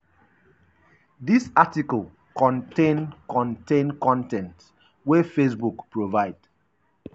dis article contain contain con ten t wey facebook provide. um